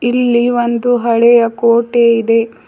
ಇಲ್ಲಿ ಒಂದು ಹಳೆಯ ಕೋಟೆ ಇದೆ.